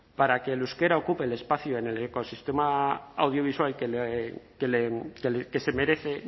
para que el euskera ocupe el espacio en el ecosistema audiovisual que se merece